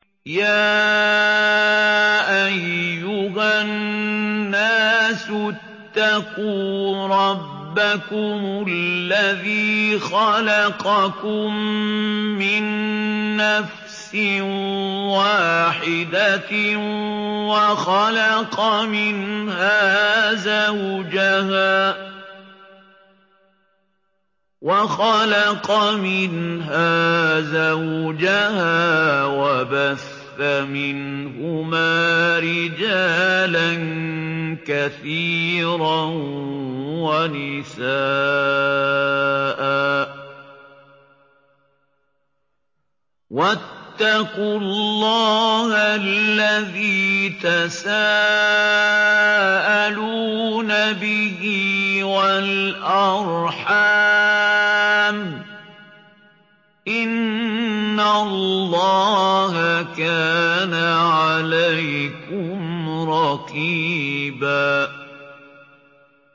يَا أَيُّهَا النَّاسُ اتَّقُوا رَبَّكُمُ الَّذِي خَلَقَكُم مِّن نَّفْسٍ وَاحِدَةٍ وَخَلَقَ مِنْهَا زَوْجَهَا وَبَثَّ مِنْهُمَا رِجَالًا كَثِيرًا وَنِسَاءً ۚ وَاتَّقُوا اللَّهَ الَّذِي تَسَاءَلُونَ بِهِ وَالْأَرْحَامَ ۚ إِنَّ اللَّهَ كَانَ عَلَيْكُمْ رَقِيبًا